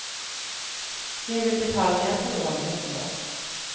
Jeg vil betale ned på lånet mitt nå.